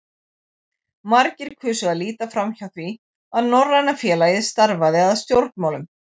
Margir kusu að líta framhjá því, að Norræna félagið starfaði að stjórnmálum.